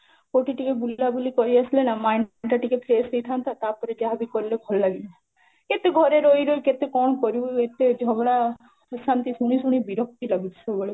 କୋଉଠି ଗୋଟେ ବୁଲା ବୁଲି କରି ଆସିଲେ ନା mind ଟା ଟିକେ fresh ହେଇଥାନ୍ତା, ତା'ପରେ ଯାହା ବି କଲେ ଭଲ ଲାଗିବ, କେତେ ଘରେ ରହି ରହି କେତେ କଣ କରିବୁ ଏତେ ଝଗଡା ଆସନ୍ତି ଶୁଣି ଶୁଣି ବିରକ୍ତି ଲାଗୁଛି ସବୁବେଳେ